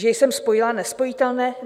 Že jsem spojila nespojitelné?